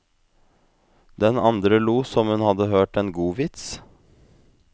Den andre lo som hun hadde hørt en god vits.